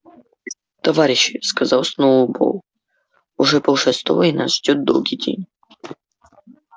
товарищи сказал сноуболл уже полшестого и нас ждёт долгий день